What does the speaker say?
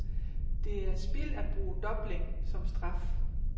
Det er spild at bruge dobling som straf.